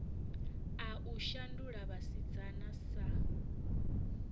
a u shandula vhasidzana sa